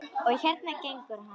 Og hérna gengur hann.